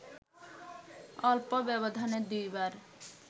অল্প ব্যবধানে দুইবার